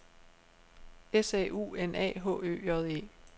S A U N A H Ø J E